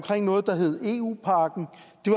noget der hed eu pakken